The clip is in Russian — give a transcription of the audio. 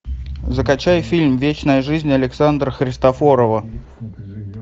закачай фильм вечная жизнь александра христофорова